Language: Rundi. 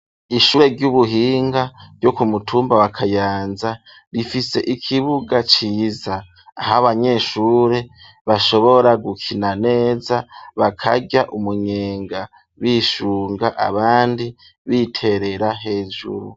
Ishure ry'ubuhinga ryo ku mutumba wa Kayanza rifise ikibuga ciza aho abanyeshure bashobora gukina neza bakarya umunyenga bishunga abandi biterera hejuru.